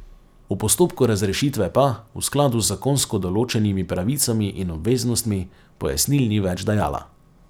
V postopku razrešitve pa, v skladu z zakonsko določenimi pravicami in obveznostmi, pojasnil ni več dajala.